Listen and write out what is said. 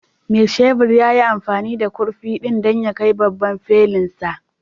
Mai shebur ya yi amfani da kurfi ɗin don ya kai gaban babban felunsa